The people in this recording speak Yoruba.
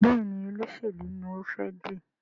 Béèni Olóṣèlú ní o fè dì.